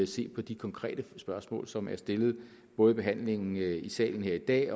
se på de konkrete spørgsmål som er stillet under behandlingen her i salen i dag